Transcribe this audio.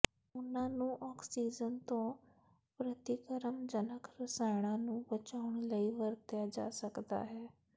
ਉਹਨਾਂ ਨੂੰ ਆਕਸੀਜਨ ਤੋਂ ਪ੍ਰਤੀਕਰਮਜਨਕ ਰਸਾਇਣਾਂ ਨੂੰ ਬਚਾਉਣ ਲਈ ਵਰਤਿਆ ਜਾ ਸਕਦਾ ਹੈ